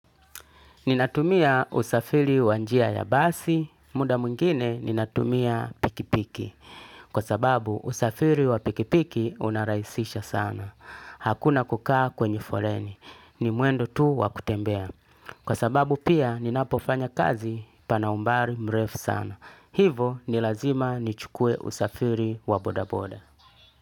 Ninatumia usafiri wa njia ya basi. Muda mwingine ninatumia pikipiki. Kwa sababu usafiri wa pikipiki unarahisisha sana. Hakuna kukaa kwenye foleni. Ni mwendo tu wakutembea. Kwa sababu pia ninapofanya kazi pana umbali mrefu sana. Hivo nilazima nichukue usafiri wa bodaboda.